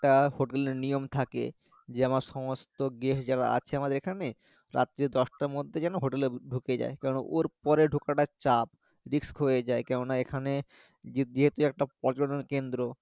একটা hotel এর নিয়ম থাকে যে আমার সমস্ত guest যারা আছে আমাদের যেখানে রাত্রি দশটার মধ্যে যেন hotel এ ঢুকে যায় কারণ ওর পরে ঢোকাটা চাপ risk হয়ে যায় কেননা এখানে যেহেতু একটা পর্যটন কেন্দ্র